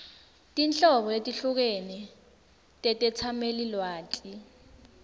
tinhlobo letehlukene tetetsamelilwati